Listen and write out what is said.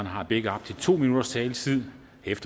har begge op til to minutters taletid